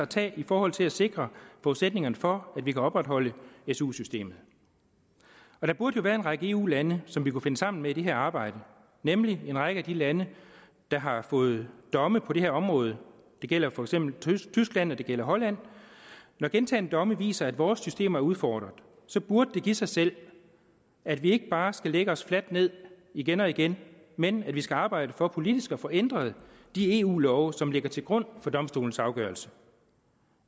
tage i forhold til at sikre forudsætningerne for at vi kan opretholde su systemet og der burde jo være en række eu lande som vi kunne finde sammen med i det arbejde nemlig en række af de lande der har fået domme på det her område det gælder for eksempel tyskland og det gælder holland når gentagne domme viser at vores systemer er udfordret så burde det give sig selv at vi ikke bare skal lægge os fladt ned igen og igen men at vi skal arbejde for politisk at få ændret de eu love som ligger til grund for domstolens afgørelse